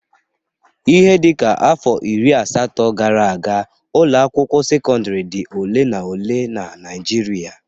Ihe dịka afọ iri asatọ gara aga, ụlọ akwụkwọ sekọndịrị dị ole na ole na Naịjịrịa.